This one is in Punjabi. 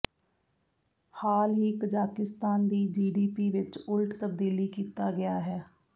ਹਾਲ ਹੀ ਕਜ਼ਾਕਿਸਤਾਨ ਦੀ ਜੀਡੀਪੀ ਵਿਚ ਉਲਟ ਤਬਦੀਲੀ ਕੀਤਾ ਗਿਆ ਹੈ